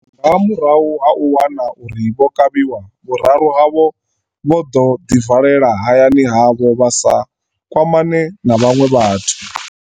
Nga murahu ha u wana uri vho kavhiwa, vhuraru havho vho ḓo ḓi valela hayani havho vha sa kwamane na vhaṅwe vhathu.